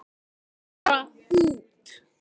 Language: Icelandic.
Bara út.